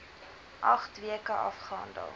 agt weke afgehandel